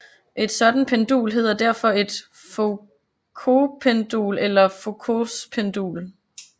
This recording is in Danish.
Et sådan pendul hedder derfor et Foucaultpendul eller Foucaults pendul